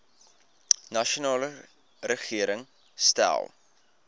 nasionale regering stel